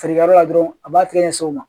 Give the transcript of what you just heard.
Feerekɛyɔrɔ la dɔrɔn a b'a tigɛ ɲɛsin o ma